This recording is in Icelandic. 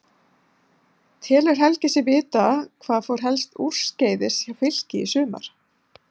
Telur Helgi sig vita hvað fór helst úrskeiðis hjá Fylki í sumar?